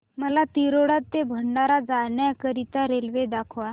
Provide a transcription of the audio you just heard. मला तिरोडा ते भंडारा जाण्या करीता रेल्वे दाखवा